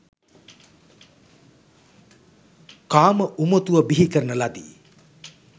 කාම උමතුව බිහි කරන ලදී.